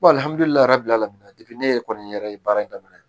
ne yɛrɛ kɔni yɛrɛ ye baara in daminɛ